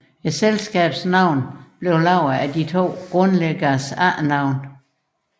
Selskabets navn blev dannet af de to grundlæggeres efternavne